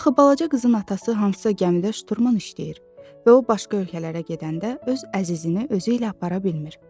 Axı balaca qızın atası hansısa gəmidə şturman işləyir və o başqa ölkələrə gedəndə öz əzizini özü ilə apara bilmir.